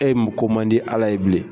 E ye ko man di Ala ye bilen.